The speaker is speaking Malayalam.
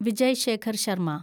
വിജയ് ശേഖർ ശർമ